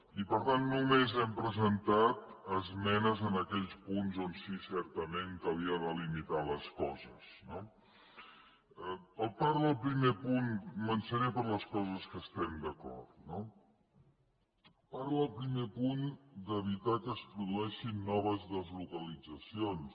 i per tant només hem presentat esmenes en aquells punts on sí que certament calia delimitar les coses no començaré per les coses que estem d’acord no parla el primer punt d’evitar que es produeixin noves deslocalitzacions